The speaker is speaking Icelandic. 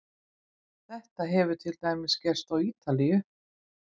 Þetta hefur til dæmis gerst á Ítalíu.